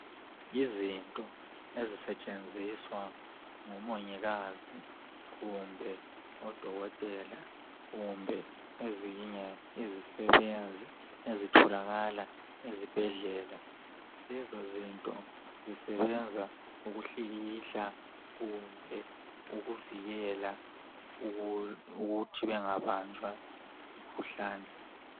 Izinto ezisetshenziswa ngomongikazi, kumbe odokotela kumbe ezinye izisebenzi ezitholakala ezibhedlela . Lezo zinto zisebenza ukuhlikihla kumbe ukuvikela ukuthi bangabanjwa yimkhuhlane.